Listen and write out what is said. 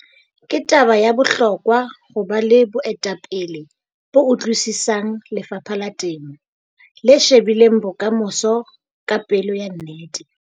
Ke taba ya bohlokwa ho ba le boetapele bo utlwisisang lefapha la temo, le shebileng bokamoso ka pelo ya nnete.